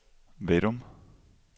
Vadum